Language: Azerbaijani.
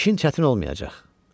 İşin çətin olmayacaq.